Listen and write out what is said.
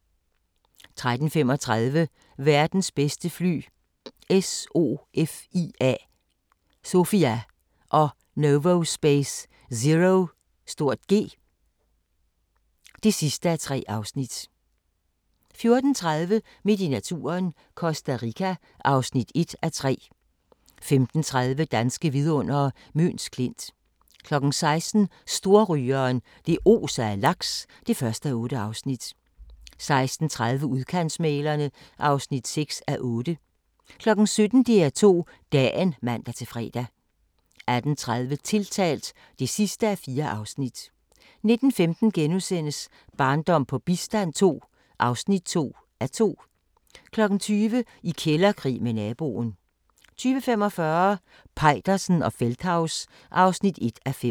13:35: Verdens bedste fly – SOFIA og Novospace ZeroG (3:3) 14:30: Midt i naturen – Costa Rica (1:3) 15:30: Danske vidundere: Møns Klint 16:00: Storrygeren – det oser af laks (1:8) 16:30: Udkantsmæglerne (6:8) 17:00: DR2 Dagen (man-fre) 18:30: Tiltalt (4:4) 19:15: Barndom på bistand II (2:2)* 20:00: I kælderkrig med naboen 20:45: Peitersen og Feldthaus (1:5)